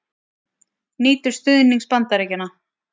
Nýtur stuðnings Bandaríkjanna